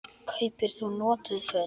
Kaupir þú notuð föt?